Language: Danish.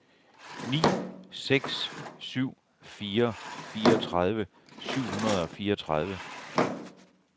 ni seks syv fire fireogtredive syv hundrede og fireogtredive